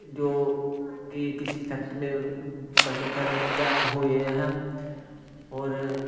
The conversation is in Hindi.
जो कि किसी फैक्ट्री में बनकर तैयार हुए हैं और--